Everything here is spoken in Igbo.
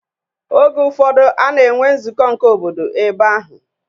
Oge ụfọdụ a na-enwe nzụkọ nke obodo ebe ahụ.